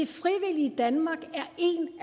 frivillige danmark